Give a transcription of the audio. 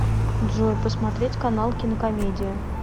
джой посмотреть канал кинокомедия